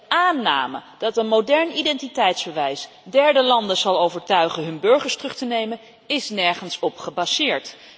De aanname dat een modern identiteitsbewijs derde landen zal overtuigen hun burgers terug te nemen, is nergens op gebaseerd.